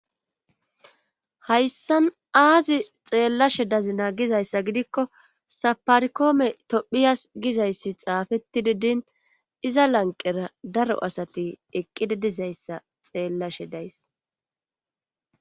Haysan aazi xeellashe dazina gizayssa gidikko saparikoome tophiyas gizayssi xaafettidi din iza lanqqera daro asati eqqidi dizayssa xeellashe days.